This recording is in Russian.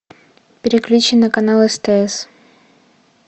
переключи на канал стс